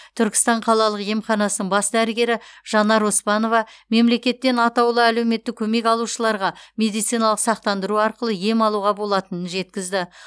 түркістан қалалық емханасының бас дәрігері жанар оспанова мемлекеттен атаулы әлеуметтік көмек алушыларға медициналық сақтандыру арқылы ем алуға болатынын жеткізді